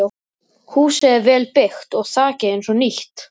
Húsið er vel byggt og þakið eins og nýtt.